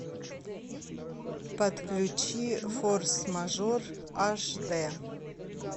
подключи форс мажор аш дэ